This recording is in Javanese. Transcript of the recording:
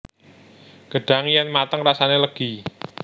Gedhang yèn mateng rasané lêgi